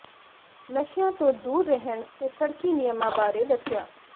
ਨਸ਼ਿਆਂ ਤੋਂ ਦੂਰ ਰਹਿਣ ਤੇ ਸੜਕੀ ਨਿਯਮਾਂ ਬਾਰੇ ਦੱਸਿਆ